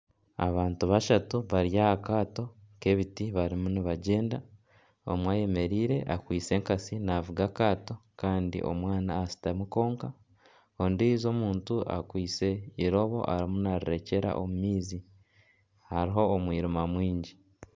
Abantu bashatu bari aha kaato k'ebiti barimu nibagyenda ,omwe ayemereire akwatsire enkansi navuga akaato Kandi omwana ashutami kwonka ondiijo omuntu akwaitse eirobo arimu narirekyera omu maizi hariho omwirima mwingi.